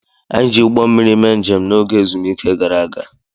Anyị ji ụgbọ mmiri mee njem n'oge ezumike gara aga.